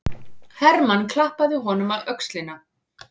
Hermann klappaði honum á öxlina.